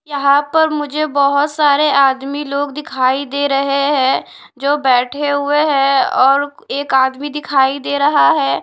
यहां पर मुझे बहुत सारे आदमी लोग दिखाई दे रहे हैं जो बैठे हुए हैं और एक आदमी दिखाई दे रहा है।